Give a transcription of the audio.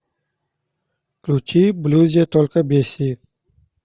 включи в блюзе только бесси